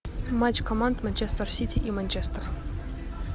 матч команд манчестер сити и манчестер